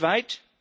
weltweit